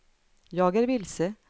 jag är vilse